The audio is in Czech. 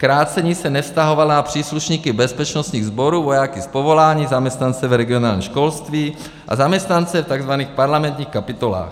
Krácení se nevztahovalo na příslušníky bezpečnostních sborů, vojáky z povolání, zaměstnance v regionálním školství a zaměstnance v tzv. parlamentních kapitolách.